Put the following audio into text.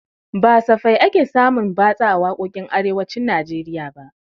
Ba safe ake samun batsa a waƙoƙin arewacin najeriya ba